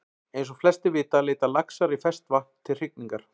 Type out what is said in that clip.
Eins og flestir vita leita laxar í ferskt vatn til hrygningar.